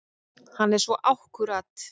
Hann er svo akkúrat.